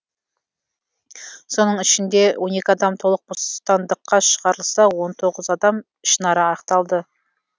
соның ішінде он екі адам толық бостандыққа шығарылса он тоғыз адам ішінара ақталды